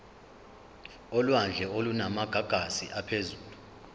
olwandle olunamagagasi aphezulu